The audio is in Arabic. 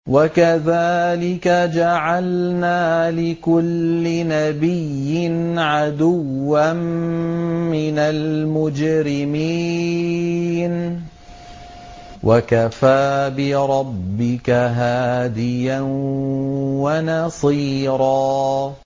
وَكَذَٰلِكَ جَعَلْنَا لِكُلِّ نَبِيٍّ عَدُوًّا مِّنَ الْمُجْرِمِينَ ۗ وَكَفَىٰ بِرَبِّكَ هَادِيًا وَنَصِيرًا